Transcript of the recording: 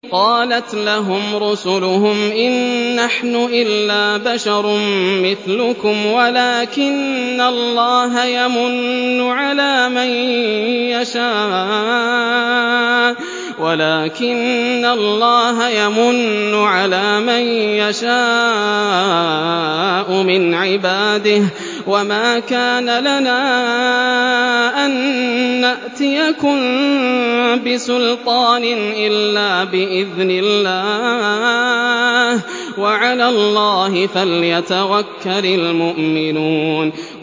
قَالَتْ لَهُمْ رُسُلُهُمْ إِن نَّحْنُ إِلَّا بَشَرٌ مِّثْلُكُمْ وَلَٰكِنَّ اللَّهَ يَمُنُّ عَلَىٰ مَن يَشَاءُ مِنْ عِبَادِهِ ۖ وَمَا كَانَ لَنَا أَن نَّأْتِيَكُم بِسُلْطَانٍ إِلَّا بِإِذْنِ اللَّهِ ۚ وَعَلَى اللَّهِ فَلْيَتَوَكَّلِ الْمُؤْمِنُونَ